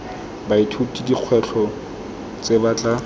baithuti dikgwetlho tse ba tla